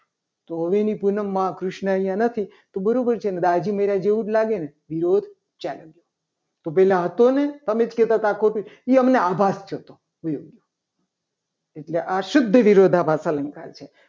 તો હવે એની પૂનમમાં કૃષ્ણ અહીંયા નથી. તો બરાબર છે ને દાજી મળ્યા જેવું જ લાગે ને વિરોધ ચાલુ ગયો. તો પહેલા હતો ને તમે જ કહેતા હતા. કે ખોટું છે. એ અમને આભાસ થયો થયો હતો. એટલે આ શુદ્ધ વિરોધાભાસ અલંકાર છે.